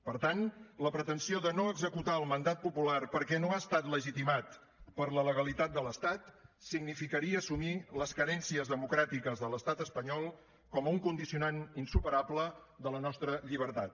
per tant la pretensió de no executar el mandat popular perquè no ha estat legitimat per la legalitat de l’estat significaria assumir les carències democràtiques de l’estat espanyol com un condicionant insuperable de la nostra llibertat